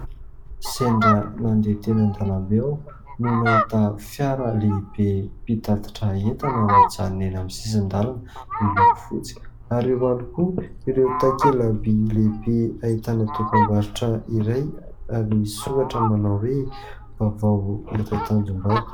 Sendra nandeha teny an-dalambe aho no nahita fiara lehibe mpitatitra entana mijanona eny amin'ny sisin-dalana miloko fotsy. Ary eo ihany koa ireo takelabỳ lehibe ahitana dokambarotra iray ary misy soratra manao hoe :" Vaovao eto Tanjombato".